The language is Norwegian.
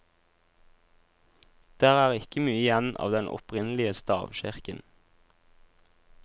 Der er ikke mye igjen av den opprinnelige stavkirken.